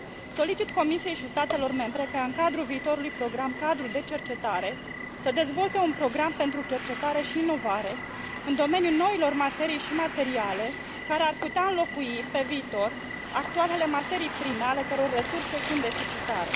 Solicit Comisiei și statelor membre ca în cadrul viitorului program cadru de cercetare să dezvolte un program pentru cercetare și inovare în domeniul noilor materii și materiale, care ar putea înlocui pe viitor actualele materii prime ale căror resurse sunt deficitare.